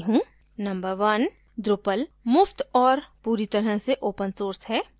number 1: drupal मुफ्त और पूरी तरह से ओपन सोर्स है